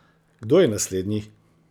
Kdo je naslednji?